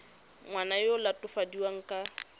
ngwana yo o latofadiwang ka